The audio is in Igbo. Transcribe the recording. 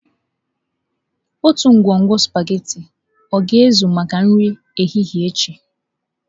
Otu ngwugwu sụpaghetị ọ ga-ezu maka nri ehihie echi?